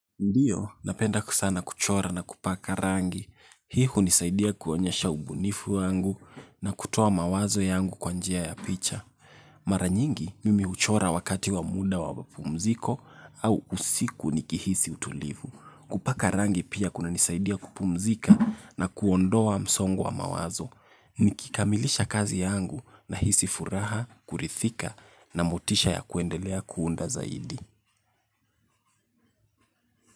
Ndiyo, napenda sana kuchora na kupaka rangi. Hii hunisaidia kuonyesha ubunifu wangu na kutoa mawazo yangu kwa njia ya picha. Mara nyingi, mimi huchora wakati wa muda wa mapumziko au usiku nikihisi utulivu. Kupaka rangi pia kunanisaidia kupumzika na kuondoa msongo wa mawazo. Nikikamilisha kazi yangu nahisi furaha, kuridhika na motisha ya kuendelea kuunda zaidi.